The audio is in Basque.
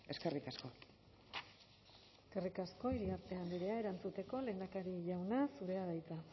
eskerrik asko eskerrik asko iriarte andrea erantzuteko lehendakari jauna zurea da hitza